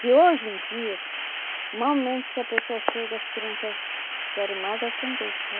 Que hoje em dias, momento que a pessoa chega, as crianças querem mais é atender, sabe?